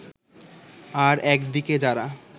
আর একদিকে যারা